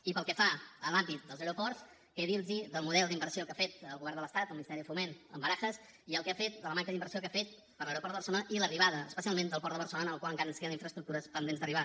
i pel que fa a l’àmbit dels aeroports què dir los del model d’inversió que ha fet el govern de l’estat el ministeri de foment amb barajas i el que ha fet de la manca d’inversió que ha fet per a l’aeroport de barcelona i l’arribada especialment al port de barcelona en el qual encara ens queden infraestructures pendents d’arribar